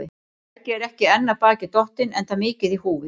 Helgi er ekki enn af baki dottinn, enda mikið í húfi.